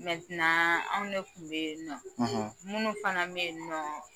Mɛti anw ne tun bɛ yen nɔ minnu fana bɛ yen nɔ